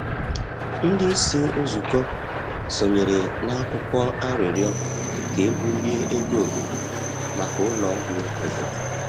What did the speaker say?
Ndị isi nzụkọ sonyere na akwụkwọ arịrịọ ka e bulie ego obodo maka ụlọ ọgwụ obodo.